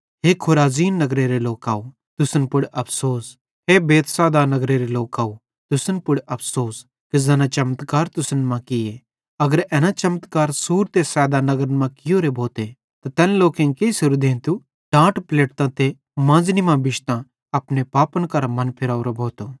हे Chorazin नगरेरे लोकव तुसन पुड़ अफ़सोस हे बैतसैदा नगरेरे लोकव तुसन पुड़ अफ़सोस कि ज़ैना चमत्कार तुसन मां किये अगर एना चमत्कार सूर ते सैदा नगरन मां कियोरे भोथे त तैन लोकेईं केइसेरे देंतेरी टाट पलेटतां ते मांज़नी मां बिश्तां अपने पापन करां मनफिरावरो भोथो